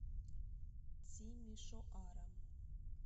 тимишоара